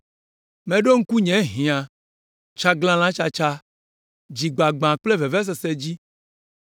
Meɖo ŋku nye hiã, tsaglalãtsatsa, dzigbagbã kple vevesese dzi.